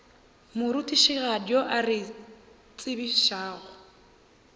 morutišigadi yo a re tsebišago